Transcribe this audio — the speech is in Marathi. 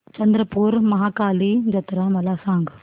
चंद्रपूर महाकाली जत्रा मला सांग